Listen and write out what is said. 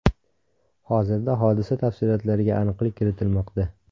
Hozirda hodisa tafsilotlariga aniqlik kiritilmoqda.